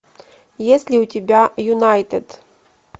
есть ли у тебя юнайтед